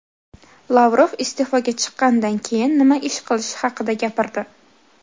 Lavrov iste’foga chiqqanidan keyin nima ish qilishi haqida gapirdi.